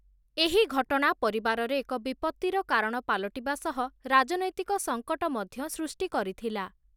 ଏହି ଘଟଣା ପରିବାରରେ ଏକ ବିପତ୍ତିର କାରଣ ପାଲଟିବା ସହ ରାଜନୈତିକ ସଙ୍କଟ ମଧ୍ୟ ସୃଷ୍ଟି କରିଥିଲା ।